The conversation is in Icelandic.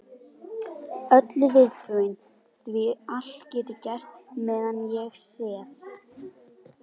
Öllu viðbúin því allt getur gerst meðan ég sef.